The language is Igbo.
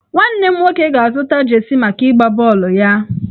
Nwanne m nwoke ga-azụta jeesi maka ịgba bọọlụ ya.